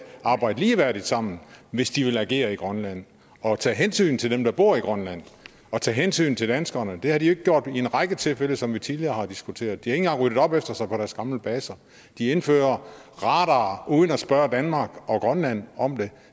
arbejde ligeværdigt sammen hvis de vil agere i grønland og tage hensyn til dem der bor i grønland og tage hensyn til danskerne det har de jo ikke gjort i en række tilfælde som vi tidligere har diskuteret de engang ryddet op efter sig på deres gamle baser de indfører radarer uden at spørge danmark og grønland om det